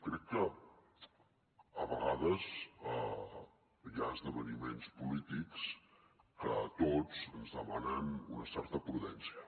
crec que a vegades hi ha esdeveniments polítics que a tots ens demanen una certa prudència